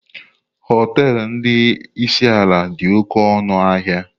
Hotelụ ndị isi ala dị oké ọnụ ahịa.